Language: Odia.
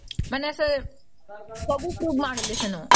ମାନେ ସେ ସବୁ proof ଆଣିଲେ ସେନ